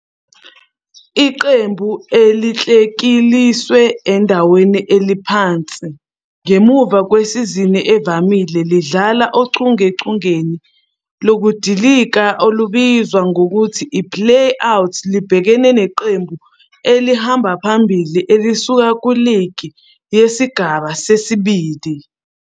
Iqembu elikleliswe endaweni ephansi ngemuva kwesizini evamile lidlala ochungechungeni lokudilika olubizwa ngokuthi i-Play-Out libhekene neqembu elihamba phambili elisuka kuligi yesigaba sesibili